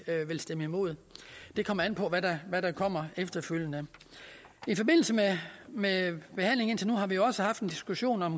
vil stemme imod det kommer an på hvad der kommer efterfølgende i forbindelse med behandlingen indtil nu har vi jo også haft en diskussion om